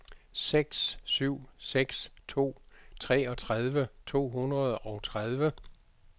seks syv seks to treogtredive to hundrede og tredive